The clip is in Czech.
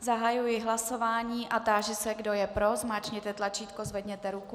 Zahajuji hlasování a táži se, kdo je pro, zmáčkněte tlačítko, zvedněte ruku.